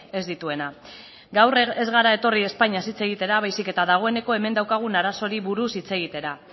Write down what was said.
ez dituena gaur ez gara etorri espainiaz hitz egitera baizik eta dagoeneko hemen daukagun arazoei buruz hitz egitera